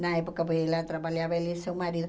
Na época, porque ela atrapalhava ela e seu marido.